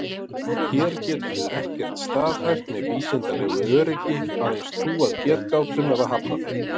Hér getum við ekkert staðhæft með vísindalegu öryggi, aðeins trúað getgátum eða hafnað þeim.